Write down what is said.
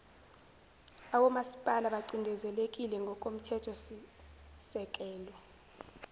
awomasipala bacindezelekile ngokomthethosisekelo